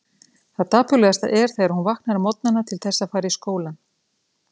Það dapurlegasta er þegar hún vaknar á morgnana til þess að fara í skólann.